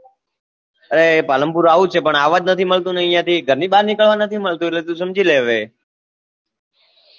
એ પાલનપુર આવું છે પણ આવા જ નથી મળતું અયા થી ઘર ની બાર જ નિકાલવા નથી મળતું એટલે તું સમજી લે હવે